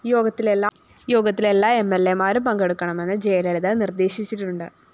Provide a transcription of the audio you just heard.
യോഗത്തില്‍ എല്ലാ എംഎല്‍എമാരും പങ്കെടുക്കണമെന്ന് ജയലളിത നിര്‍ദ്ദേശിച്ചിട്ടുണ്ട്